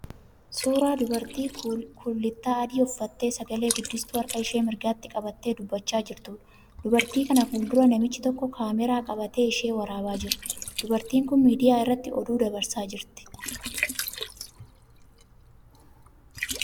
Suuraa dubartii kullittaa adii uffattee sagalee guddistuu harka ishee mirgaatti qabattee dubbachaa jirtuudha. Dubartii kana fuula dura namichi tokko 'kaameeraa' qabatee ishee waraabaa jira. Dubartiin kun miidiyaa irratti oduu dabarsaa jirti.